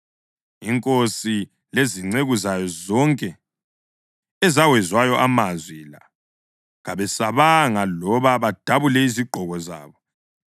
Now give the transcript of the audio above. Inkosi lezinceku zayo zonke ezawezwayo amazwi la kabesabanga loba badabule izigqoko zabo.